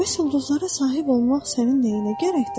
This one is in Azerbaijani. Bəs ulduzlara sahib olmaq sənin nəyinə gərəkdir?